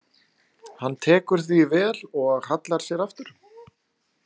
Hann tekur því vel og hallar sér aftur.